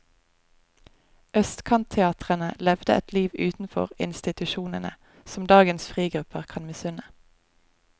Østkantteatrene levde et liv utenfor institusjonene som dagens frigrupper kan misunne.